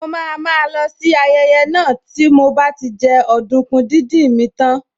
Mo máa má lọ sí ayẹyẹ náà tí mo bá ti jẹ ọdùkún díndín mi tán